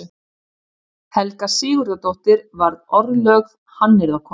Helga Sigurðardóttir varð orðlögð hannyrðakona.